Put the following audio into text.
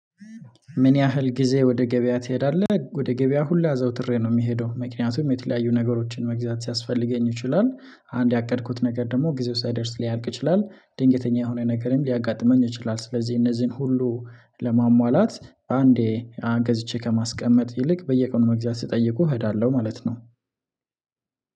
ምን ያህል ጊዜ ወደ ገበያ ትሄዳለህ ወደ ገበያ ሁሌ አዘውትሬ ነው የምሄደው። ምክንያቱም የተለያዩ ነገሮችን መግዛት ሊያስፈልገኝ ይችላል አንድ ያቀድኩት ነገር ደግሞ ጊዜው ሳይደርስ ሊያልቅ ይችላል ድንገተኛ የሆነ ነገርም ሊያጋጥመኝ ይችላል። ስለዚህ እነዚህን ሁሉ ለማሟላት ባንዴ ገዝቼ ከማስቀመጥ ይልቅ በየቀኑ መግዛት ሲጠይቁ እሄዳለሁ። ማለት ነው